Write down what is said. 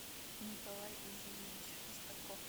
николай изиевич шестаков